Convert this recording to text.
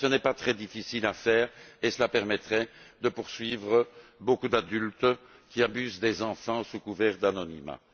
Ce n'est pas très difficile à faire et cela permettrait de poursuivre beaucoup d'adultes qui abusent des enfants sous couvert d'anonymat.